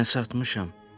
Hə, satmışam.